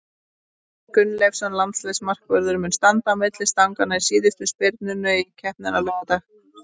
Gunnleifur Gunnleifsson, landsliðsmarkvörður, mun standa á milli stanganna í síðustu spyrnunum í keppninni á laugardag.